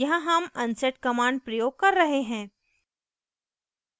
यहाँ हम unset command प्रयोग कर रहे हैं